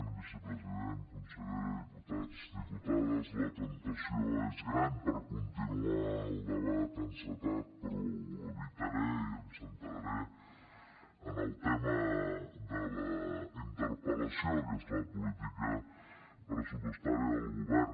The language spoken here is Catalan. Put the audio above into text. vicepresident consellera diputats diputades la temptació és gran per continuar el debat encetat però ho evitaré i em centraré en el tema de la interpel·lació que és la política pressupostària del govern